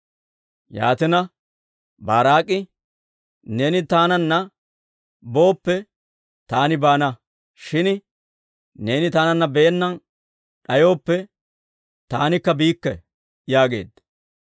Yaatina, Baaraak'i, «Neeni taananna booppe, taani baana; shin neeni taananna baana d'ayooppe, taanikka biikke» yaageedda.